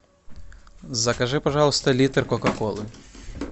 закажи пожалуйста литр кока колы